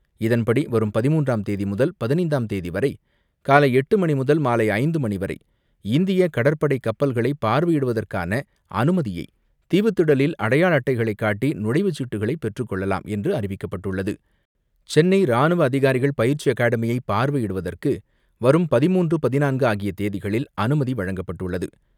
இதன்படி வரும் பதிமூன்றாம் தேதி முதல் பதினைந்தாம் தேதிவரை காலை எட்டு மணி முதல் மாலை ஐந்து மணிவரை இந்திய கடற்படை கப்பல்களை பார்வையிடுவதற்கான அனுமதியை தீவுத்திடலில் அடையாள அட்டைகளை காட்டி நுழைவுச்சீட்டுகளை பெற்றுக்கொள்ளலாம் என்று அறிவிக்கப்பட்டுள்ளது சென்னை ராணுவ அதிகாரிகள் பயிற்சி அகாடமியை பார்வையிடுவதற்கு வரும் பதின்மூன்று, பதினான்கு ஆகிய தேதிகளில் அனுமதி வழங்கப்பட்டுள்ளது.